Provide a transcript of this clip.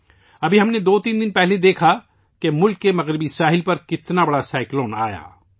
ابھی دو تین دن پہلے، ہم نے دیکھا کہ ملک کے مغربی سرے پر کتنا بڑا طوفان آیا